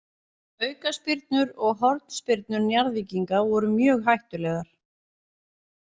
Aukaspyrnur og hornspyrnur Njarðvíkinga voru mjög hættulegar.